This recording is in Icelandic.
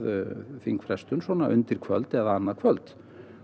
þingfrestun svona undir kvöld eða annað kvöld